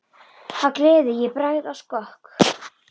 Af gleði ég bregð á skokk.